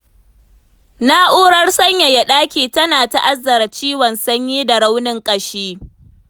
Na'urar sanyaya ɗaki tana ta'azzara ciwon sanyi da raunin ƙashi.